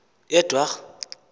yedwarha